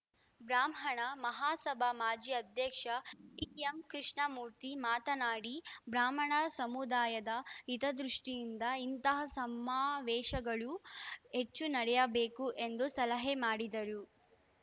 ಬ್ರಾಹ್ಮಣ ಮಹಾಸಭಾ ಮಾಜಿ ಅಧ್ಯಕ್ಷ ಟಿಎಂ ಕೃಷ್ಣಮೂರ್ತಿ ಮಾತನಾಡಿ ಬ್ರಾಹ್ಮಣ ಸಮುದಾಯದ ಹಿತದೃಷ್ಠಿಯಿಂದ ಇಂತಹ ಸಮಾವೇಶಗಳು ಹೆಚ್ಚು ನಡೆಯಬೇಕು ಎಂದು ಸಲಹೆ ಮಾಡಿದರು